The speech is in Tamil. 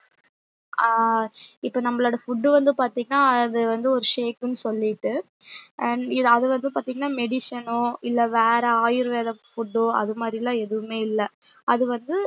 அஹ் இப்ப நம்மளோட food வந்து பாத்திங்கனா அது வந்து ஒரு shake ன்னு சொல்லிட்டு and அது வந்து பாத்திங்கனா medicine ஓ இல்ல வேற ஆயுர்வேத food ஆ அது மாறில எதுவும் இல்ல